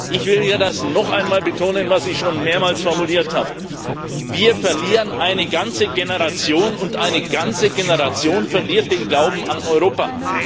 Ich will hier das noch einmal betonen, was ich schon mehrmals formuliert habe Wir verlieren eine ganze Generation, und eine ganze Generation verliert den Glauben an Europa.